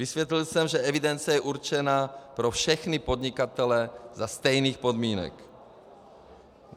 Vysvětlil jsem, že evidence je určena pro všechny podnikatele za stejných podmínek.